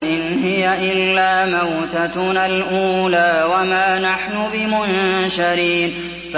إِنْ هِيَ إِلَّا مَوْتَتُنَا الْأُولَىٰ وَمَا نَحْنُ بِمُنشَرِينَ